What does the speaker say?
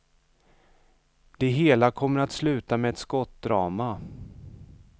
Det hela kommer att sluta med ett skottdrama.